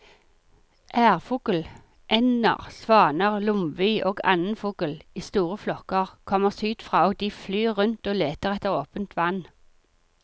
Ærfugl, ender, svaner, lomvi og annen fugl i store flokker kommer sydfra og de flyr rundt og leter etter åpent vann.